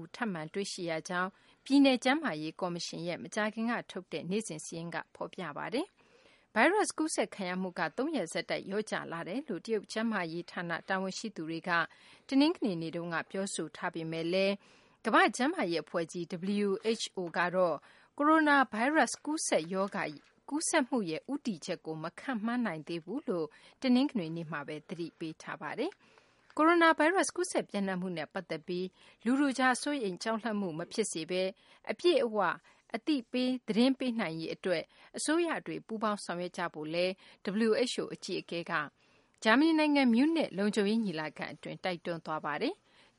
ဦး ထပ်မံတွေ့ရှိရကြောင်း ပြည်နယ်ကျန်းမာရေး ကော်မရှင်ရဲ့ မကြာခင်ကထုတ်တဲ့ နေ့စဉ်စာရင်းမှာ ဖော်ပြထားပါတယ်။ ဗိုင်းရပ်စ်ကူးစက်ခံရမှုက သုံးရက်ဆက်တိုက် လျော့ကျလာတယ်လို့ တရုတ်ကျန်းမာရေးဌာန တာဝန်ရှိသူတွေက ပြောဆိုထားပေမယ့်လည်း ကမ္ဘာ့ကျန်းမာရေးအဖွဲ့ကြီး (WHO) ကတော့ ကိုရိုနာဗိုင်းရပ်စ် ကူးစက်ရောဂါရဲ့ ရှေ့အလားအလာကို မခန့်မှန်းနိုင်သေးဘူးလို့ တနင်္ဂနွေနေ့မှာပဲ သတိပေးထားပါတယ်။ ကိုရိုနာဗိုင်းရပ်စ် ကူးစက်ပျံ့နှံ့မှုနဲ့ ပတ်သက်ပြီး လူထုကြား စိုးရိမ်ကြောက်လန့်မှု မဖြစ်စေဘဲ အပြည့်အ၀ သတင်းပေးနိုင်ရေးအတွက် အစိုးရတွေ ပူးပေါင်းဆောင်ရွက်ကြဖို့လည်း WHO အကြီးအကဲက ဂျာမနီနိုင်ငံ မြူးနစ် လုံခြုံရေးညီလာခံအတွင်း တိုက်တွန်းသွားပါတယ်။